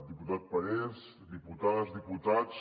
diputat parés diputades diputats